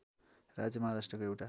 राज्य महाराष्ट्रको एउटा